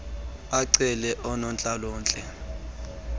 acele unontlalo ntle